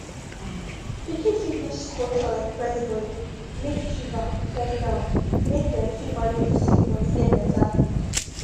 pikin fit use cold towel press body make fever come down make dem fit manage di symptoms get beta quick